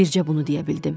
Bircə bunu deyə bildim.